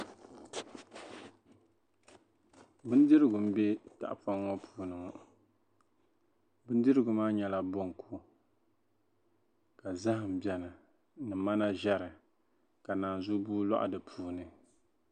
bindirigu m-be tahapɔŋ ŋɔ puuni ŋɔ bindirigu maa nyɛla bonku ka zahim beni ni mana ʒɛri ka nanzubua lɔhi di puuni